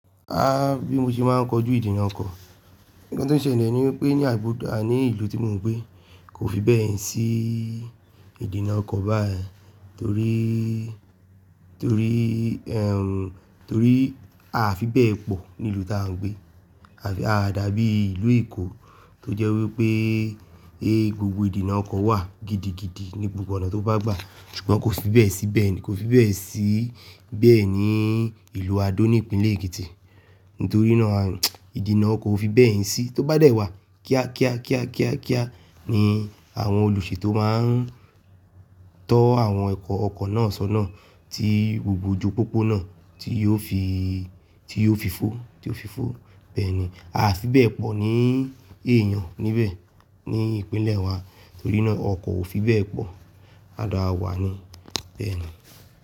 Ah bí mo ṣe máa ń kojú ìdènà ọkọ̀, ǹkan tó ṣele ni wipé ní àbùdá ni ìlú tí mò ń gbé kò fi bẹ́ẹ̀ sí ìdènà ọkọ̀ báyen torí, torí ẹm torí a fi bẹ́ẹ̀ pọ̀ ní ìlú tí à ń gbé a fi a dàbí ìlú Èkó tó jẹ́ wípé pẹ gbogbo ìdènà ọkọ̀ wà gidigidi ní gbogbo ọ̀nà tó bá gbà ṣùgbọ́n kò fi bẹ́ẹ̀ sí bẹ́ẹ̀ni kò fi bẹ́ẹ̀ sí bẹ́ẹ̀ ni ìlú Ado ní ìpínlẹ̀ Èkìtì nítorí náà ìdènà ọkọ̀ ò fi bẹ́ẹ̀ sí tó bá dẹ̀ wá kíákíá kíákíá kíá ni àwọn olùṣetó máa ń tọ́ àwọn ọkọ̀ náà sọ́nà tí gbogbo ojú pópó náà tí yóò fi tí yóò fi fọ́ tí yóò fi fọ́ bẹ́ẹ̀ ni a fi bẹ́ẹ̀ pọ̀ ní èèyàn níbẹ̀ ní ìpínlẹ̀ wa torí náà ọkọ̀ ò fi bẹ́ẹ̀ pọ̀, a dà wà ní bẹ́ẹ̀ ni.